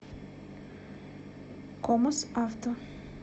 комос авто